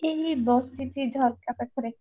ଏଇ ବସଛି ଝରକା ପାଖରେ।